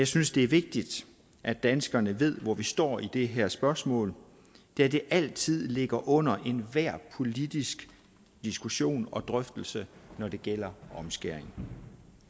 synes det er vigtigt at danskerne ved hvor vi står i det her spørgsmål da det altid ligger under enhver politisk diskussion og drøftelse når det gælder omskæring